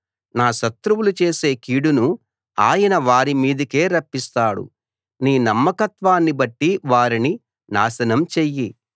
నా శత్రువులు చేసే కీడును ఆయన వారి మీదకే రప్పిస్తాడు నీ నమ్మకత్వాన్ని బట్టి వారిని నాశనం చెయ్యి